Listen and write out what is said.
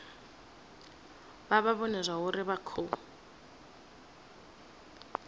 vha vhone zwauri vha khou